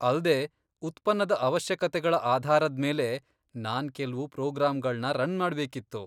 ಅಲ್ದೇ, ಉತ್ಪನ್ನದ ಅವಶ್ಯಕತೆಗಳ ಆಧಾರದ್ಮೇಲೆ ನಾನ್ ಕೆಲ್ವು ಪ್ರೋಗ್ರಾಮ್ಗಳ್ನ ರನ್ ಮಾಡ್ಬೇಕಿತ್ತು.